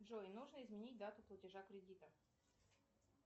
джой нужно изменить дату платежа кредита